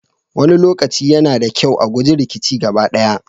Wani lokaci, yana da kyau a guji rikici gaba ɗaya.